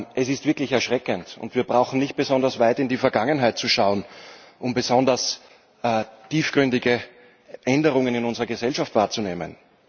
Es ist wirklich erschreckend, und wir brauchen nicht besonders weit in die Vergangenheit zu schauen, um besonders tiefgründige Änderungen in unserer Gesellschaft wahrzunehmen.